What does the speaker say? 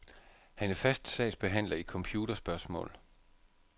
Han er fast sagsbehandler i computerspørgsmål.